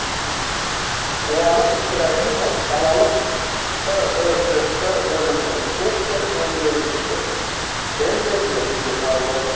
қуаныш ибрагимов қалалық түкш бөлімінің сектор меңгерушісі тендер өтпей қалды